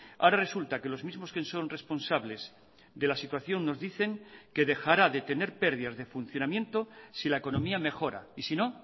ahora resulta que los mismos que son responsables de la situación nos dicen que dejará de tener pérdidas de funcionamiento si la economía mejora y si no